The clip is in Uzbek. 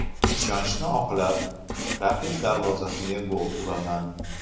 Ishonchni oqlab, raqib darvozasiga gol uraman.